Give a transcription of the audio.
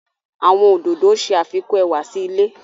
Àwọn ododo ṣe afikun ẹwa si ile